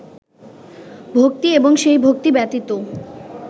ভক্তি এবং সেই ভক্তি ব্যতীত